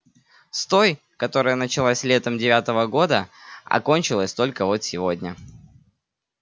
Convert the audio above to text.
с той которая началась летом девятого года а кончилась только вот сегодня